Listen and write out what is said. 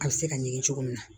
A bɛ se ka ɲin cogo min na